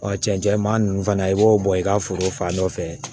cɛncɛn maa ninnu fana i b'o bɔ i ka foro fan nɔfɛ